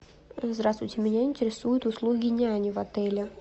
здравствуйте меня интересуют услуги няни в отеле